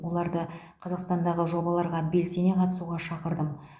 оларды қазақстандағы жобаларға белсене қатысуға шақырдым